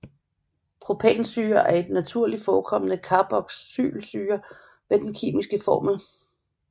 Propansyre er en naturligt forekommende carboxylsyre med den kemiske formel